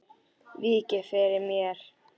Víkið fyrir mér.